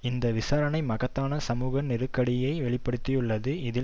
இந்த விசாரணை மகத்தான சமூக நெருக்கடியை வெளி படுத்தியுள்ளது இதில்